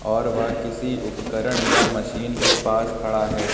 और वह किसी उपकरण या मशीन के पास खड़ा है।